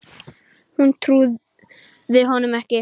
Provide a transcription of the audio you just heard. Hún trúði honum ekki.